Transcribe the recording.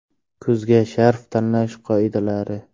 Kuzga sharf tanlash qoidalari.